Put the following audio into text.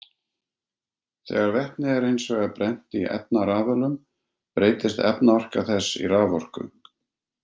Þegar vetni er hins vegar brennt í efnarafölum breytist efnaorka þess í raforku.